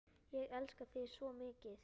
Ég elska þig svo mikið.